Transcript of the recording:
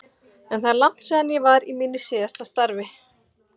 En það er langt síðan ég var í mínu síðasta starfi.